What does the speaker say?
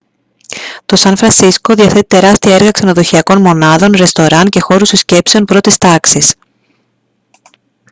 το σαν φρανσίσκο διαθέτει τεράστια έργα ξενοδοχειακών μονάδων ρεστοράν και χώρους συσκέψεων πρώτης τάξης